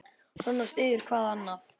Svona styður hvað annað.